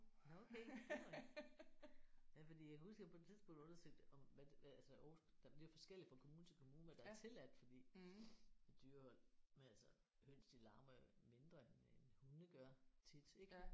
Nåh okay. Det var ja fordi jeg kan huske jeg på et tidspunkt undersøgte om hvad der altså Aarhus det er forskelligt fra kommune til kommune hvad der er tilladt fordi med dyrehold men altså høns de larmer jo mindre end end hunde gør tit ik?